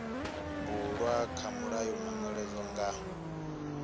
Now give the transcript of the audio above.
bulwa kha mulayo manweledzo nga